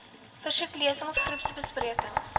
versoek lesings groepbesprekings